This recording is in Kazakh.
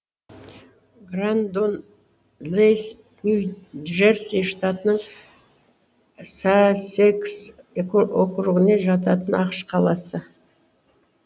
грандон лэйс нью джерси штатының сассекс округіне жататын ақш қаласы